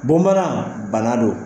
Bamanan bana do.